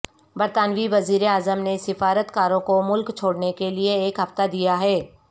برطانوی وزیر اعظم نے سفارتکاروں کو ملک چھوڑنے کے لیے ایک ہفتہ دیا ہے